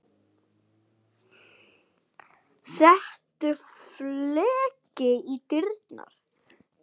Settur fleki í dyrnar.